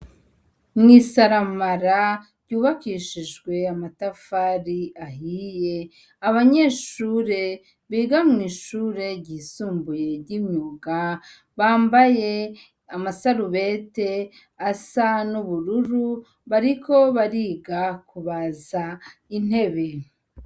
Mwisaramara ryubakishijwe amatafari ahiye ,abanyeshure biga mw'ishure ry'isumbuye ry'imyuga bambaye amasarubeti asa n'ubururu, bariko bariga kubaza intebe.